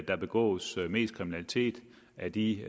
der begås mest kriminalitet af de